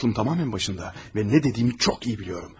Aklım tamamilə başındadır və nə dediyimi çox iyi bilirəm.